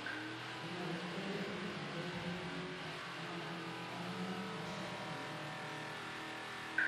Ywaruok bedo e kind jaera tugo mag England, Rashia kod France.